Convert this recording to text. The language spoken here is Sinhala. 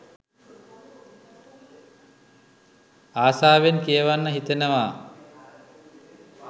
අසාවෙන් කියවන්න හිතෙනවා.